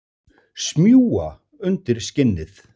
Smjúga undir skinnið.